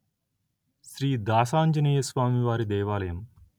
శ్రీ దాసాంజనేయస్వామివారి దేవాలయం